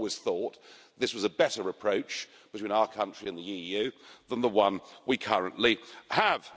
I've always thought this was a better approach between our country and the EU than the one we currently have.